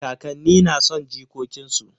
Kakanni na son jikokin su.